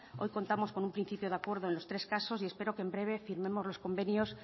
hoy contamos con un principio de acuerdo en los tres casos y espero que en breve firmemos los convenios